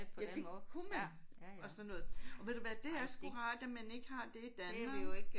Ja det kunne man og sådan noget og ved du hvad det er sgu rart at man ikke har det i Danmark